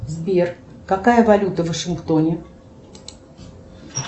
сбер какая валюта в вашингтоне